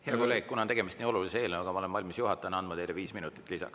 Hea kolleeg, kuna on tegemist nii olulise eelnõuga, siis ma olen valmis juhatajana andma teile 5 minutit lisaks.